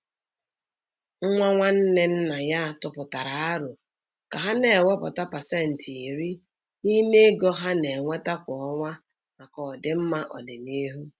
Nwa nwanne nna ya tụpụtara árò ka ha na-ewepụta pasentị iri n'ime ego ha na-enweta kwa ọnwa maka ọdịmma ọdịnihu.